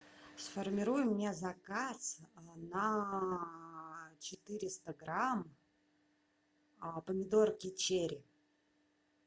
сформируй мне заказ на четыреста грамм помидорки черри